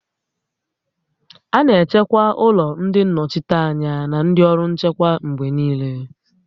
A na-echekwa ụlọ ndị nnọchiteanya na ndị ọrụ nchekwa mgbe niile